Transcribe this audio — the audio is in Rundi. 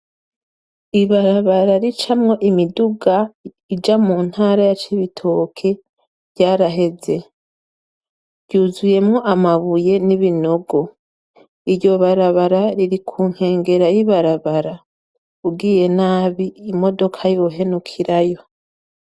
Ibarabara ricamwo imiduga ija mu ntara ya Cibitoke ryaraheze. Ryuzuyemwo amabuye n'ibinogo. Iryo barabara riri ku nkengera y'ibarabara; ugiye nabi imodoka yohenukirayo.